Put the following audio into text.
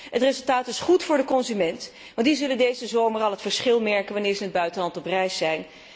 Het resultaat is goed voor de consumenten, want die zullen deze zomer al het verschil merken wanneer ze in het buitenland op reis zijn.